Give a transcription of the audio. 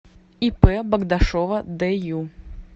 ип богдашова дю